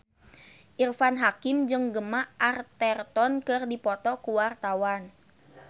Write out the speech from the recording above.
Irfan Hakim jeung Gemma Arterton keur dipoto ku wartawan